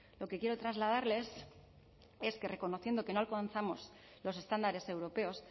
lo que quiero trasladarles es que reconociendo que no alcanzamos los estándares europeos